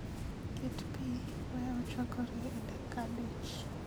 ket pii, wee ochwakre e dakika abich